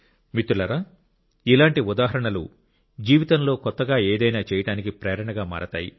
మిత్రులారా ఇలాంటి ఉదాహరణలు జీవితంలో కొత్తగా ఏదైనా చేయటానికి ప్రేరణగా మారతాయి